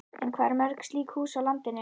En hvað eru mörg slík hús til á landinu?